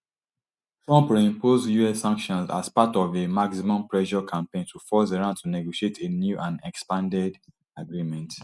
trump reimpose us sanctions as part of a maximum pressure campaign to force iran to negotiate a new and expanded agreement